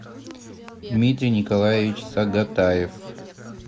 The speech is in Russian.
дмитрий николаевич сагатаев